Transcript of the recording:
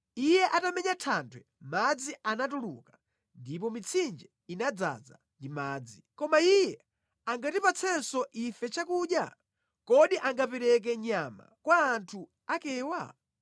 Iye atamenya thanthwe madzi anatuluka, ndipo mitsinje inadzaza ndi madzi. Koma iye angatipatsenso ife chakudya? Kodi angapereke nyama kwa anthu akewa?”